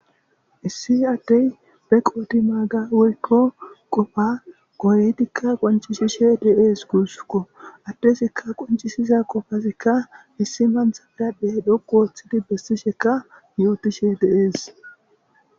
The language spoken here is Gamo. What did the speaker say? Issi addey be qooti maaga woykko qofa kooyetikka qoncishishe dees guussukko addesikka qoncisiza qofazikka issi manthth biradhdhe dhoqu wooththidi bessishekka yootishshe dees